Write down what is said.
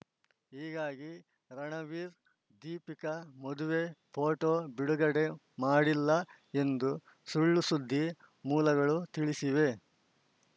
ಹೀಗಾಗಿ ರಣವೀರ್‌ದೀಪಿಕಾ ಮದುವೆ ಫೋಟೋ ಬಿಡುಗಡೆ ಮಾಡಿಲ್ಲ ಎಂದು ಸುಳ್‌ಸುದ್ದಿ ಮೂಲಗಳು ತಿಳಿಸಿವೆ